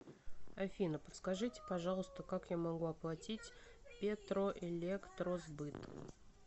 афина подскажите пожалуйста как я могу оплатить петроэлектросбыт